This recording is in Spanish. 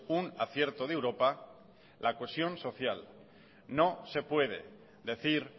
un acierto de europa la cohesión social no se puede decir